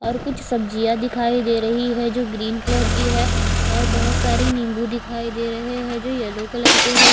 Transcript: और कुछ सब्जिया दिखाई दे रही है जो ग्रीन कलर की है और बहोत सारे नींबू दिखाई दे रहे है जो येलो कलर के है।